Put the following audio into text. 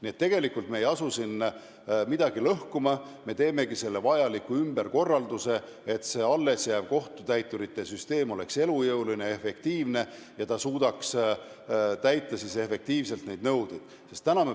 Nii et me ei asu siin midagi lõhkuma, me teeme vajaliku ümberkorralduse, et allesjääv kohtutäiturite süsteem oleks elujõuline ja efektiivne ning suudaks neid nõudeid efektiivselt täita.